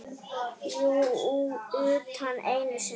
Jú, utan einu sinni.